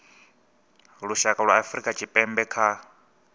lushaka lwa afrika tshipembe kha